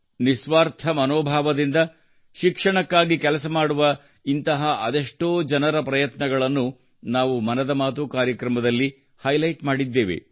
ನಿಸ್ವಾರ್ಥ ಮನೋಭಾವದಿಂದ ಶಿಕ್ಷಣಕ್ಕಾಗಿ ಕೆಲಸ ಮಾಡುವ ಇಂತಹ ಅದೆಷ್ಟೋ ಜನರ ಪ್ರಯತ್ನಗಳನ್ನು ನಾವು ಮನದ ಮಾತು ಕಾರ್ಯಕ್ರಮದಲ್ಲಿ ಹೈಲೈಟ್ ಮಾಡಿದ್ದೇವೆ